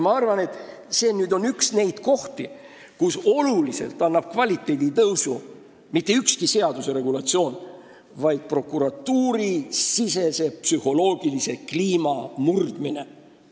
Ma arvan, et see on üks neid kohti, kus olulist kvaliteedi tõusu ei anna mitte ükski seaduse regulatsioon, vaid psühholoogilise kliima murdmine prokuratuuri sees.